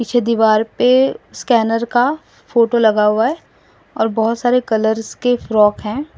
पीछे दीवाल पे स्कैनर का फोटो लगा हुआ है और बहुत सारे कलर्स के फ्रॉक हैं।